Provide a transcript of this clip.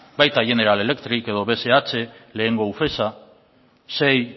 baita general electric edo bsh lehengo ufesa sei